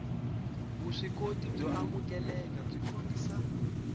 vuswikoti byo amukeleka byi kombisa